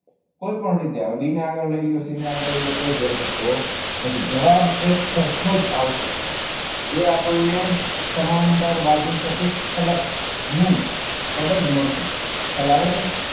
કોઈપણ રીતે આવે. બી ને આગળ લઈ લો, સી ને આગળ લઈ લો, કોઈ ફેર પડતો નથી જવાબ તો એક સરખો જ આવશે. એ આપણને એ આપણને સમાંતર બાજુ ચતુષ્ફલક નું કદ મળશે. ખ્યાલ આવે છે?